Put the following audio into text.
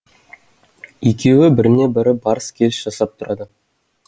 екеуі біріне бірі барыс келіс жасап тұрады